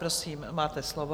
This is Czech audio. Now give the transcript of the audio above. Prosím, máte slovo.